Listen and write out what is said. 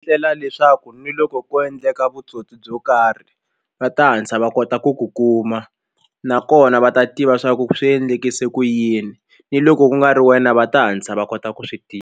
Ndlela leswaku ni loko ko endleka vutsotsi byo karhi va ta hatla va kota ku ku kuma nakona va ta tiva swa ku swi endlise ku yini ni loko ku nga ri wena va ta hatlisa va kota ku swi tiva.